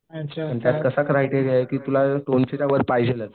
आणि त्यात कसा क्रायटेरिया आहे की तुला दोनशेच्या वर पाहिजेलच